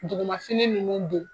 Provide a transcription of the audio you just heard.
Duguman sini nunnu don